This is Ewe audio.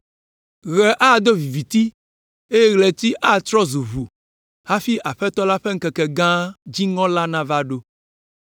Ɣe ado viviti eye ɣleti atrɔ zu ʋu hafi Aƒetɔ la ƒe ŋkeke gã, dziŋɔ la nava ɖo.